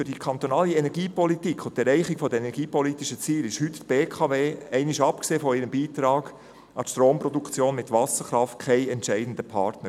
Für die kantonale Energiepolitik und die Erreichung der energiepolitischen Ziele ist heute die BKW, einmal abgesehen von ihrem Beitrag an die Stromproduktion mit Wasserkraft, kein entscheidender Partner.